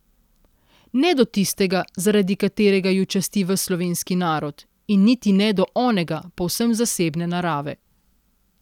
Ne do tistega, zaradi katerega ju časti ves slovenski narod, in niti ne do onega povsem zasebne narave.